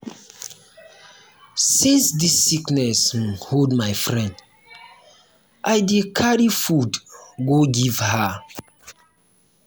since dis sickness um hold my friend i dey carry food go give her.